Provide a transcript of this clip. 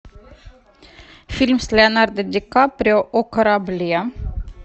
фильм с леонардо ди каприо о корабле